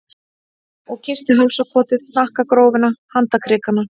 Og kyssti hálsakotið, hnakkagrófina, handarkrikana.